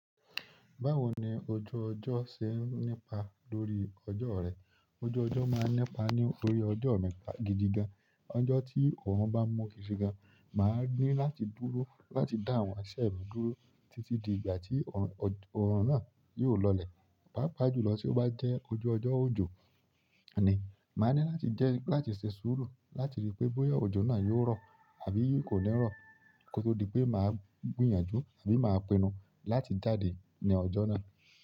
Báwo ni ojú ọjọ́ ṣe ń nípa lórí ọjọ́ rẹ? Ojú ọjọ́ máa ń nípa nítorí ọjọ́ mí gidi gan. Ọjọ́ tí òòrùn bá mú gidi gan, màá ní láti dúró láti dá àwọn iṣẹ́ mi dúró títí di ìgbà tí òòrùn náà yóò lọlẹ̀. Pàápàá jùlọ tí ó bá jẹ́ ojú ọjọ́ òjò ni, màá ní láti jẹ́ láti ṣe sùúrù láti rí i pé bóyá òjò náà yóò rọ̀ àbí kò ní rọ̀. Kótó di pé màá gbìyànjú àbí màá pinnu láti jáde ní ọjọ́ náà.